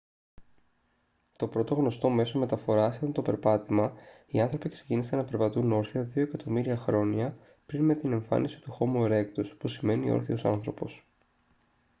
το πρώτο γνωστό μέσο μεταφοράς ήταν το περπάτημα οι άνθρωποι ξεκίνησαν να περπατούν όρθια δύο εκατομμύρια χρόνια πριν με την εμφάνιση του χόμο ερέκτους που σημαίνει όρθιος άνθρωπος